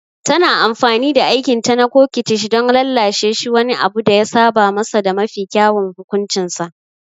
Tana amfani da aikinta na coquettish don lallashe shi wani abu da ya saba masa da mafi kyawun hukuncinsa.